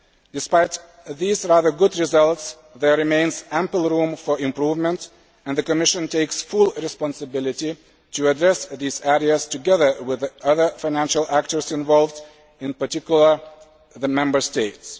track. Despite these rather good results, there remains ample room for improvement, and the Commission takes full responsibility for addressing these areas together with the other financial actors involved, in particular the Member